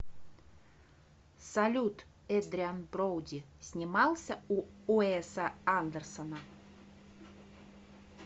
салют эдриан броуди снимался у уэса андерсона